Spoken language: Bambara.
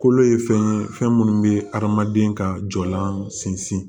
Kolo ye fɛn ye fɛn minnu bɛ hadamaden ka jɔlan sinsin